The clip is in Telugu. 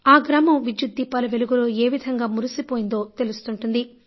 ఆ గ్రామం విద్యుత్ దీపాల వెలుగులో ఏ విధంగా మురిసిపోయిందో తెలుస్తుంటుంది